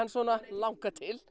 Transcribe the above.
langar til